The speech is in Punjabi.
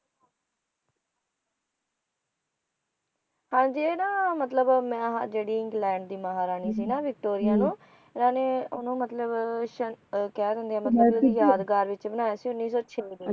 ਹਾਂ ਜੀ ਇਹ ਨਾ ਮਤਲਬ ਮ ਆ ਜੇੜੀ ਇੰਗਲੈਂਡ ਦੀ ਜਿਹੜੀ ਮਹਾਰਾਣੀ ਸੀ ਨਾ ਵਿਕਟੋਰੀਆਂ ਇਨ੍ਹਾਂ ਨੇ ਓਹਨੂੰ ਮਤਲਬ ਸ਼`ਕਹਿ ਦਿੰਦੇ ਹੈ ਮਤਲਬ ਯਾਦਗਾਰ ਵਿਚ ਬਣਾਇਆ ਸੀ ਉੱਨੀ ਸੌ ਛੇ ਦੇ ਵਿਚ